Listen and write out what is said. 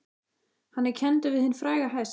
Hann er kenndur við hinn fræga hest